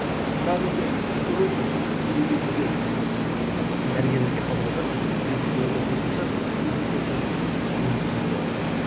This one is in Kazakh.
бірақ енді біз көріп отырмыз кейбір кездерде дәрігерлерге хабарласады сіз де фейсбуктан оқып жатқан шығарсыз фейсбук болсын ыыы әлеуметтік желілерде